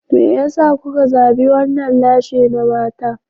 Me yasa kuka zabi wannan lashe na mata?